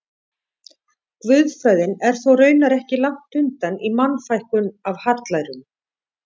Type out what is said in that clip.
Guðfræðin er þó raunar ekki langt undan í Mannfækkun af hallærum.